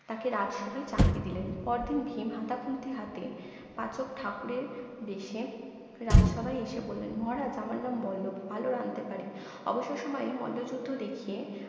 তাকে রাজসভায় চাকরী দিলেন পরদিন ভীম হাতা খুন্তি হাতে পাচক ঠাকুরের বেশে রাজসভায় এসে বললেন মহারাজ আমার ্নাম বল্লব ভালো রাধতে পারি অবসর সময়ে মল্যযুদ্ধ দেখিয়ে